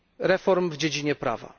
reform w dziedzinie prawa.